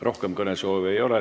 Rohkem kõnesoove ei ole.